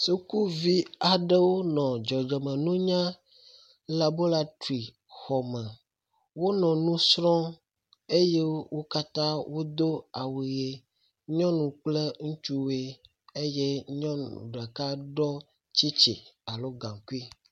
Sukuvi aɖewo nɔ dzɔdzɔme nunya labolatrixɔ me. Wonɔ nu srɔ̃m eye wo katã wodo awu ʋi. nyɔnu kple ŋutsuwoe eye nyɔnu ɖeka ɖɔ tsitsi alo gaŋkui.